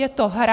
Je to hra.